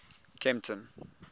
kempton